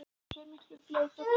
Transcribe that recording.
Og sér miklu fleiri fugla en ég.